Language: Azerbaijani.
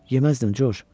Yeməzdim, Corc.